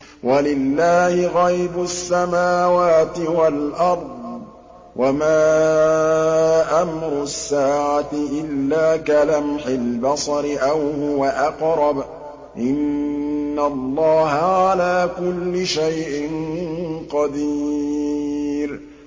وَلِلَّهِ غَيْبُ السَّمَاوَاتِ وَالْأَرْضِ ۚ وَمَا أَمْرُ السَّاعَةِ إِلَّا كَلَمْحِ الْبَصَرِ أَوْ هُوَ أَقْرَبُ ۚ إِنَّ اللَّهَ عَلَىٰ كُلِّ شَيْءٍ قَدِيرٌ